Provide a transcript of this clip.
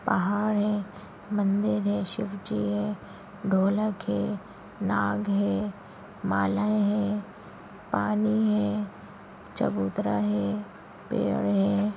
पहाड़ है मंदिर है शिव जी है ढोलक है नाग है मालाएं हैं पानी है चबूतरा है पेड़ हैं।